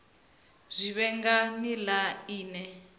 zwi vhe nga nila ine